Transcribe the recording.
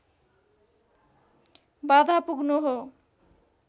बाधा पुग्नु हो